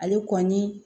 Ale kɔni